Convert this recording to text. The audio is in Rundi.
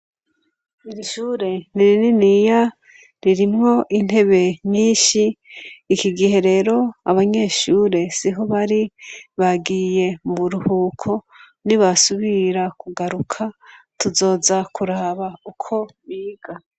Iri shure ni rininiya, ririmwo intebe nyinshi , iki gihe rero abanyeshure siho bari, bagiye muburuhuko nibasubira kugaruka tuzoza kuraba uko biga.